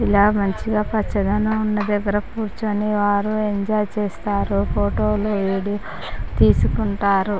ఇలా మంచిగా పచ్చదనం ఉన్న దగ్గర కూర్చొని వారు ఎంజాయ్ చేస్తారు ఫోటోలు వీడియో లు తీసుకుంటారు.